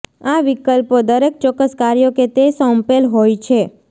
આ વિકલ્પો દરેક ચોક્કસ કાર્યો કે તે સોંપેલ હોય છે